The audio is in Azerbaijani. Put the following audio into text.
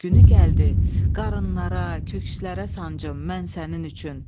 Günü gəldi, qarınlara, kökslərə sancım mən sənin üçün.